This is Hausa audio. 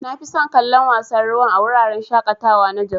Nafison kallon wasan ruwan a wuraren shaƙatawa na jos.